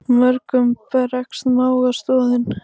Mörgum bregst mága stoðin.